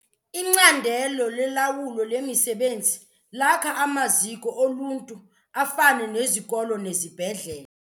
Icandelo lolawulo lemisebenzi lakha amaziko oluntu afane nezikolo nezibhedlele.